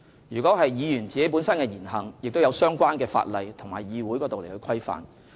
議員本身的言行，亦受相關的法例和《議事規則》規範。